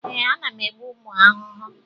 Ee, ana m egbu ụmụ ahụhụ.